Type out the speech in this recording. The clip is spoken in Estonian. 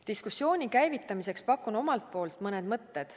Diskussiooni käivitamiseks pakun omalt poolt mõned mõtted.